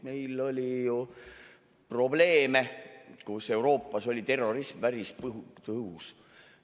Meil oli ju probleeme, kui Euroopas oli terrorism päris tõhus.